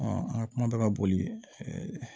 an ka kuma bɛ ka boli